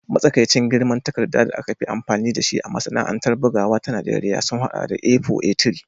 Matsakaicin girman takarda da aka fi amfani da shi a masana'antar bugawa ta Najeriya sun haɗa da A4, A3